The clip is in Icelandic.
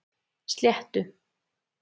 Sléttu